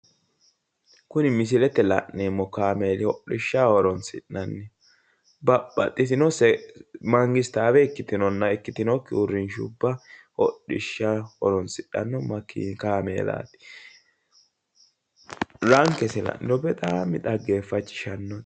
kuri misilete la'neemmo kaameeli hodhishshaho horonsi'nanni babbaxitino mangistaawe ikkitinonna ikkitinokki uurrinsha hodhishshaho horonsidhanno kaameeelaati. rankesi la'niro xaggeeffachishshanno.